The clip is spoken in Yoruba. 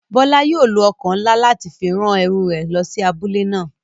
Bola yóò lo oko nla lati fi ran eru re lo si abule náa.